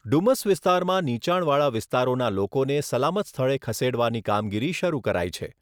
ડુમસ વિસ્તારમાં નીચાણવાળા વિસ્તારોના લોકોને સલામત સ્થળે ખસેડવાની કામગીરી શરૂ કરાઈ છે.